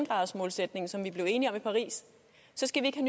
gradsmålsætningen som vi blev enige om i paris skal vi ikke